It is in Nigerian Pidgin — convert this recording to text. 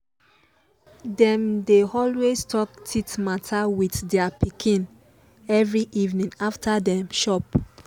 dem they always talk teeth matter with their pikin every evening after dem chop